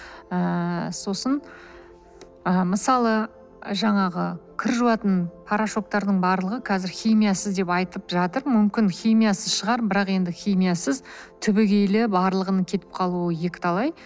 ыыы сосын ы мысалы жаңағы кір жуатын порошоктардың барлығы қазір химиясыз деп айтып жатыр мүмкін химиясыз шығар бірақ енді химиясыз түбегейлі барлығының кетіп қалуы екі талай